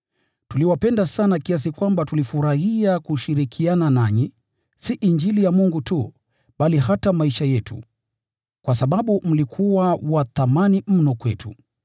Tuliwapenda sana kiasi kwamba tulifurahia kushirikiana nanyi, si Injili ya Mungu tu, bali hata maisha yetu, kwa sababu mlikuwa wa thamani mno kwetu.